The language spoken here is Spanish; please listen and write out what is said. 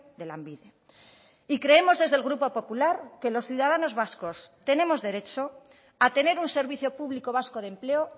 de lanbide y creemos desde el grupo popular que los ciudadanos vascos tenemos derecho a tener un servicio público vasco de empleo